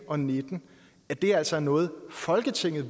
og nitten at det altså er noget folketinget